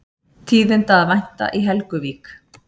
Tíðinda að vænta í Helguvík